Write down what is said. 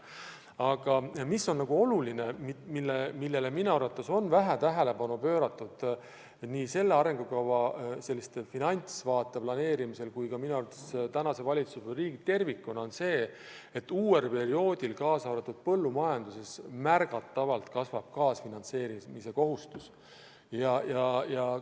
Aga mis on oluline ja millele minu arvates on vähe tähelepanu pööratud nii selle arengukava finantsvaate planeerimisel kui ka tänase valitsuse poolt riigis tervikuna, on see, et uuel perioodil kasvab märgatavalt kaasfinantseerimise kohustus, ja seda ka põllumajanduses.